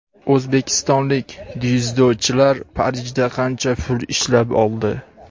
O‘zbekistonlik dzyudochilar Parijda qancha pul ishlab oldi?.